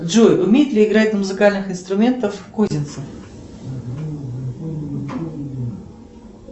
джой умеет ли играть на музыкальных инструментах козинцев